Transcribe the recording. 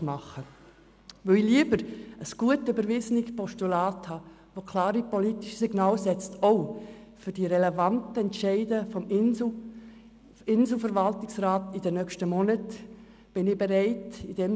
Ich habe nun lieber ein gut überwiesenes Postulat, welches auch für die relevanten Entscheide des Inselspital-Verwaltungsrats, die in den nächsten Monaten anstehen, klare politische Signale aussendet.